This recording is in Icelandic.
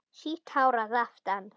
Sítt hár að aftan.